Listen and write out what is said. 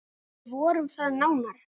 Við vorum það nánar.